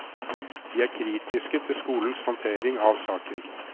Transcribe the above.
De er kritiske til skolens håndtering av saken.